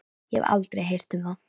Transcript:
Ég hef aldrei heyrt um það.